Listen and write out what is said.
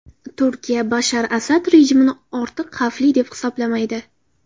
Turkiya Bashar Asad rejimini ortiq xavfli deb hisoblamaydi.